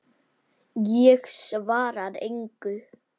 Ég svara engu.